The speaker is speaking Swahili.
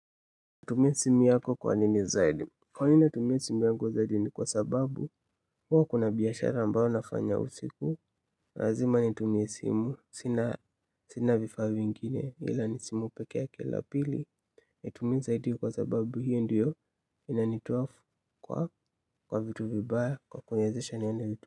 Tumia simu yako kwa nini zaidi Kwa nini natumia simu yangu zaidi ni kwa sababu hua kuna biashara ambayo nafanya usiku. Razima nitumie simu sina vifaa vingine ila ni simu peke yake la pili natumia zaidi kwa sababu hio ndio inanituafu kwa kwa vitu vibaya kwa kuniezesha nione vitu.